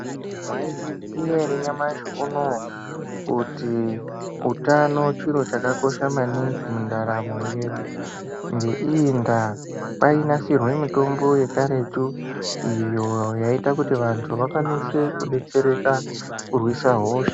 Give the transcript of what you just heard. Mwaizviziya ere nyamashi unouyu kuti utano chiro chakakosha maningi mundaramo yedu ngeiyi ndaa kwainasirwe mitombo yekaretu iyo yaita kuti vantu vakwanise kudetsereka kurwise hosha.